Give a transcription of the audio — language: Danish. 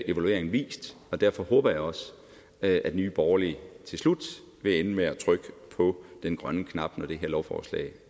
evalueringen vist derfor håber jeg også at nye borgerlige til slut vil ende med at trykke på den grønne knap når det her lovforslag